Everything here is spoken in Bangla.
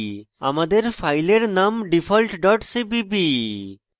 আমাদের file name default dot cpp